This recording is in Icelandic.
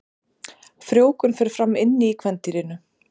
Frjóvgun fer fram inni í kvendýrinu.